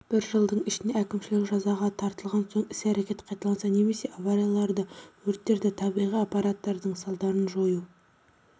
бір жылдың ішінде әкімшілік жазаға тартылған соң іс-әрекет қайталанса немесе аварияларды өрттерді табиғи апаттардың салдарын жою